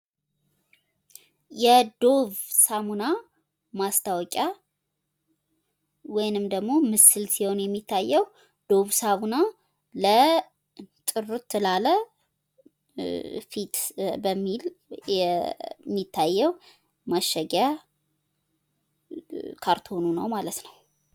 የዶቭ ሳሙና ማስታወቂያ ወይንም ደግሞ ምስል ሲሆን የሚታየው ፤ ዶቭ ሳሙና ጥርት ላለ ፊት በሚል የሚታየው ማሸጊያ ካርቶኑ ነው።